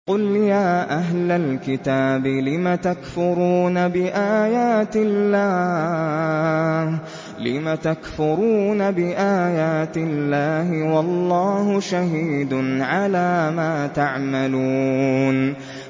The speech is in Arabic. قُلْ يَا أَهْلَ الْكِتَابِ لِمَ تَكْفُرُونَ بِآيَاتِ اللَّهِ وَاللَّهُ شَهِيدٌ عَلَىٰ مَا تَعْمَلُونَ